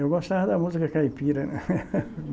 Eu gostava da música caipira, né?